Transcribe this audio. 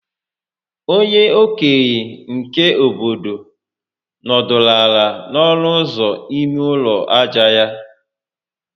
Onye okenye nke obodo nọdụrụ ala n'ọnụ ụzọ ime ụlọ aja ya